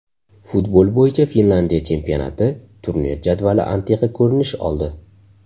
Futbol bo‘yicha Finlandiya chempionati turnir jadvali antiqa ko‘rinish oldi.